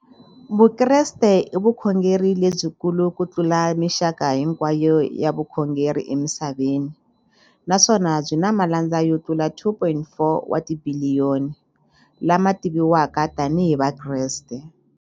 Vukreste i vukhongeri lebyikulu kutlula mixaka hinkwayo ya vukhongeri emisaveni, naswona byi na malandza yo tlula 2.4 wa tibiliyoni, la ma tiviwaka tani hi Vakreste.